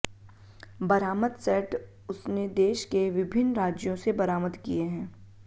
बरामद सेट उसने देश के विभिन्न राज्यों से बरामद किये हैं